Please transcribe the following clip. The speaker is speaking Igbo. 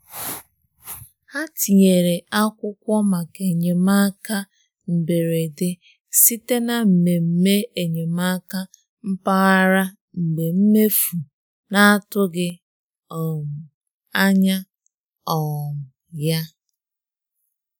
Ha tinyere akwụkwọ maka enyemaka mberede site na mmemme enyemaka mpaghara mgbe mmefu na-atụghị um anya um ya. um